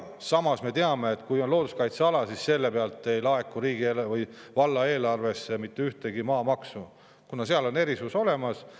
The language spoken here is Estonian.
Samas me teame, et kui on looduskaitseala, siis selle pealt ei laeku riigi ega valla eelarvesse mitte mingit maamaksu, kuna seal on erisus olemas.